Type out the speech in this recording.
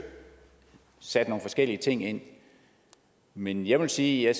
sat nogle forskellige ting ind men jeg vil sige at